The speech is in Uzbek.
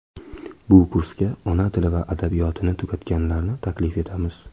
Bu kursga ona tili va adabiyotini tugatganlarni taklif etamiz.